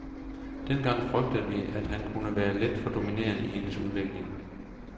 Dengang frygtede vi, at han kunne være lidt for dominerende i hendes udvikling.